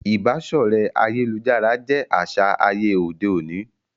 Ìbáṣọ̀rẹ́ ayélujára jé aṣa àyè òde òní